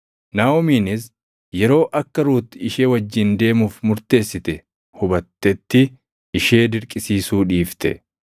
Naaʼomiinis yeroo akka Ruut ishee wajjin deemuuf murteessite hubattetti ishee dirqisiisuu dhiifte.